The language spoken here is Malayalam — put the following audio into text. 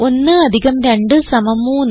1 അധികം 2 സമം 3